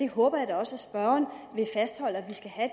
håber da også at spørgeren vil fastholde